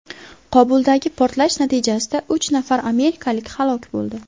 Qobuldagi portlash natijasida uch nafar amerikalik halok bo‘ldi.